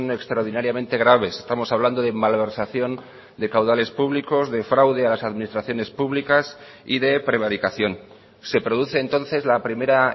extraordinariamente graves estamos hablando de malversación de caudales públicos de fraude a las administraciones públicas y de prevaricación se produce entonces la primera